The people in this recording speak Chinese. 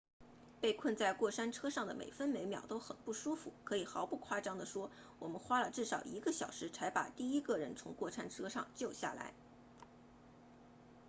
被困在过山车上的每分每秒都很不舒服可以毫不夸张地说我们花了至少一个小时才把第一个人从过山车上救下来